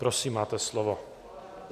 Prosím, máte slovo.